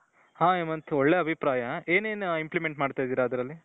ಹ್ಮ್ ಹೇಮಂತ್ ಒಳ್ಳೆಯ ಅಭಿಪ್ರಾಯ ಏನೇನ್ ಇಂಪ್ಲಿಮೆಂಟ್ ಮಾಡ್ತಾ ಇದ್ದೀರಾ ಅದರಲ್ಲಿ ?